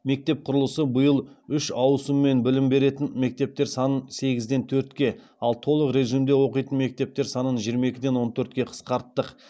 мектеп құрылысы биыл үш ауысыммен білім беретін мектептер санын сегізден төртке ал толық режимде оқитын мектептер санын жиырма екіден он төртке қысқарттық